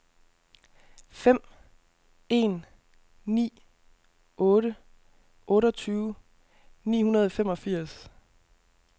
fem en ni otte otteogtyve ni hundrede og femogfirs